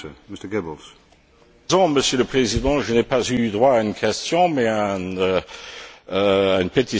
Monsieur le Président, je n'ai pas eu droit à une question mais à une pétition de principe de M.